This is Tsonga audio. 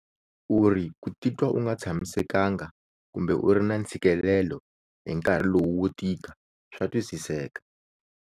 Uri ku titwa u nga tshamiseka nga kumbe u ri na ntshikelelo hi nkarhi lowu wo tika swa twisiseka.